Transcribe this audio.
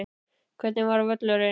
Hvernig var völlurinn?